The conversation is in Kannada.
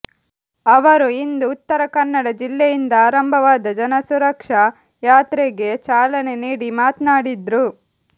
ಅವರು ಇಂದು ಉತ್ತರಕನ್ನಡ ಜಿಲ್ಲೆಯಿಂದ ಆರಂಭವಾದ ಜನಸುರಕ್ಷಾ ಯಾತ್ರೆಗೆ ಚಾಲನೆ ನೀಡಿ ಮಾತ್ನಾಟಿದ್ರು